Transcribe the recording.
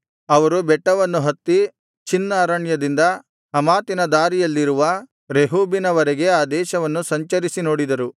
ಅವರು ಬೆಟ್ಟವನ್ನು ಹತ್ತಿ ಚಿನ್ ಅರಣ್ಯದಿಂದ ಹಮಾತಿನ ದಾರಿಯಲ್ಲಿರುವ ರೆಹೋಬಿನ ವರೆಗೆ ಆ ದೇಶವನ್ನು ಸಂಚರಿಸಿ ನೋಡಿದರು